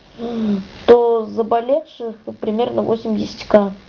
то заболевших примерно восемьдесят к